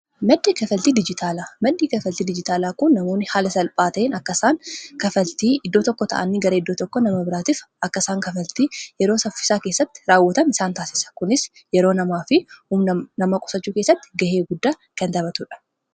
maddii kafaltii diijitaalaa kun namoonni haala salphaa ta'in akkasaan kafaltii iddoo tokko ta'anni garee iddoo tokko nama biraatiif akkaisaan kafaltii yeroo saffisaa keessatti raawwatan isaan taasisa kunis yeroo namaa fi um nama qosachuu keessatti ga'ee guddaa kan tapatuudha